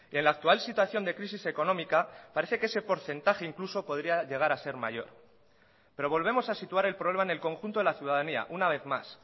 en la actual situación de crisis económica parece que ese porcentaje incluso podría llegar a ser mayor pero volvemos a situar el problema en el conjunto de la ciudadanía una vez más